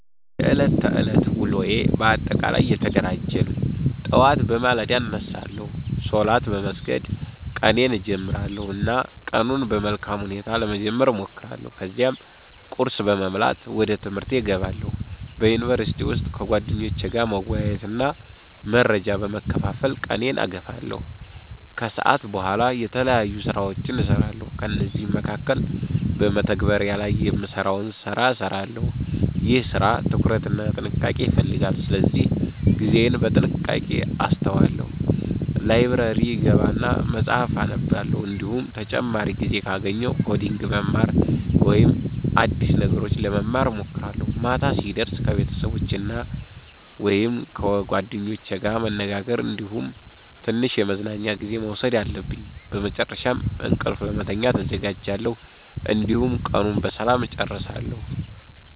የዕለት ተዕለት ውሎዬ በአጠቃላይ የተደራጀ ነው። ጠዋት በማለዳ እነሳለሁ፣ ሶላት በመስገድ ቀኔን እጀምራለሁ እና ቀኑን በመልካም ሁኔታ ለመጀመር እሞክራለሁ። ከዚያም ቁርስ በመብላት ወደ ትምህርቴ እገባለሁ። በዩኒቨርሲቲ ውስጥ ከጓደኞቼ ጋር መወያየትና መረጃ በመካፈል ቀኔን እገፋለሁ። ከሰዓት በኋላ የተለያዩ ስራዎችን እሰራለሁ፤ ከእነዚህ መካከል በመተግበሪያ ላይ የምሰራውን ሰራ እሰራለሁ። ይህ ስራ ትኩረት እና ጥንቃቄ ይፈልጋል ስለዚህ ጊዜዬን በጥንቃቄ አሰተዋለሁ። ላይብረሪ እገባና መፀሀፍ አነባለሁ፤ እንዲሁም ተጨማሪ ጊዜ ካገኘሁ ኮዲንግ መማር ወይም አዲስ ነገሮች ለመማር እሞክራለሁ። ማታ ሲደርስ ከቤተሰቦቸ ወይም ከጓደኞቼ ጋር መነጋገር እንዲሁም ትንሽ የመዝናኛ ጊዜ መውሰድ አለብኝ። በመጨረሻም እንቅልፍ ለመተኛት እዘጋጃለሁ፣ እንዲሁም ቀኑን በሰላም እጨርሳለሁ።